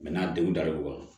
n'a denw dar'o kɔrɔ